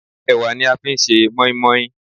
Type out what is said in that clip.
Ẹ̀wà ni a fi ń ṣe moin-moin.